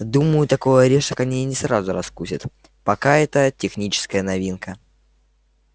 думаю такой орешек они не сразу раскусят пока это техническая новинка